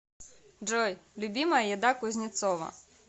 джой любимая еда кузнецова